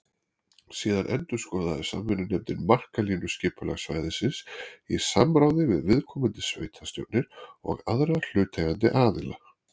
Síðan endurskoðaði samvinnunefndin markalínu skipulagssvæðisins í samráði við viðkomandi sveitarstjórnir og aðra hlutaðeigandi aðila.